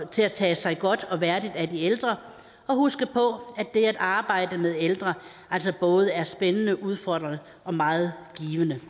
til at tage sig godt og værdigt af de ældre og huske på at det at arbejde med ældre altså er både spændende udfordrende og meget givende